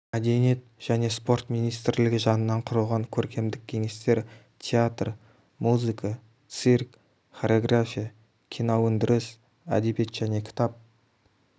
мәдениет және спорт министрлігі жанынан құрылған көркемдік кеңестер театр музыка цирк хореография киноөндіріс әдебиет және кітап